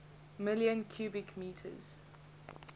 million cubic meters